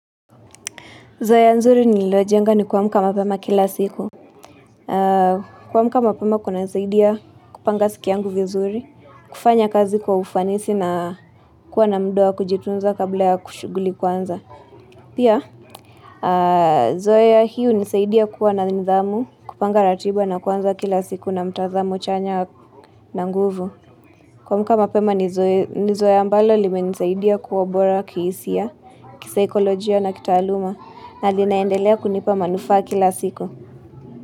Zoea nzuri nililojenga ni kuamka mapema kila siku. Kuamka mapema kuna nisaidia kupanga siku yangu vizuri, kufanya kazi kwa ufanisi na kuwa na muda wa kujitunza kabla ya shughuli kuanza. Pia, zoea hio hunisaidia kuwa na nidhamu kupanga ratiba na kuanza kila siku na mtazamo chanya na nguvu. Kuamka mapema ni zoea ambalo li menisaidia kuwa bora kisia, kisikolojia na kitaluma. Na linaendelea kunipa manufaa kila siko.